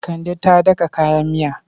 Kande ta daka kayan miya.